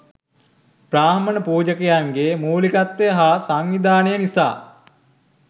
බ්‍රාහ්මණ පූජකයන්ගේ මූලිකත්වය හා සංවිධානය නිසා